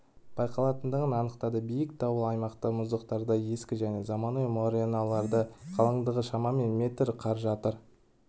байқалатындығын анықтады биік таулы аймақта мұздықтарда ескі және заманауи мореналарда қалыңдығы шамамен метр қар жатыр